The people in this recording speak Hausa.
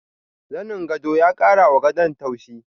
Zanin gwado ya kara wa gadon tauchi.